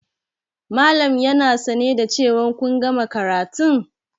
Malam yana sane da cewa kun gama karatun?